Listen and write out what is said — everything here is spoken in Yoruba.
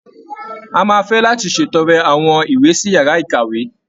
A máa fé láti ṣètọrẹ àwọn ìwé sí yàrá ìkàwé.